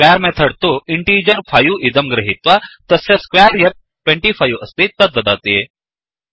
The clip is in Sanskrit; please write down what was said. स्क्वेर् मेथड् तु इण्टीजर् 5 इदं गृहीत्वा तस्य स्क्वेर् यत् 25 अस्ति तद्ददाति